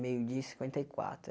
Meio dia e cinquenta e quatro.